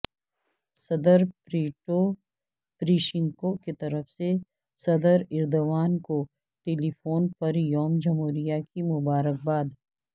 صدر Petro Poroshenko کیطرف سے صدرایردوان کو ٹیلیفون پر یوم جمہوریہ کی مبارکباد